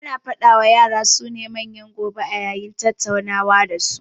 Ana faɗa wa yara su ne manyan gobe a yayin tattaunawa da su